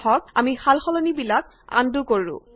আহক আমি সালসলনিবিলাক আন্ডু কৰো